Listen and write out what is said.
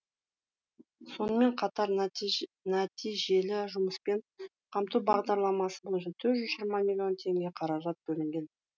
сонымен қатар нәтижелі жұмыспен қамту бағдарламасы бойынша төрт жүз жиырма миллион теңге қаражат бөлінген